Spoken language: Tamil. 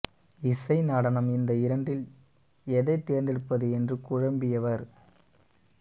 இசை நடனம் இந்த இரண்டில் எதை தேர்ந்தெடுப்பது என்று குழம்பியவர்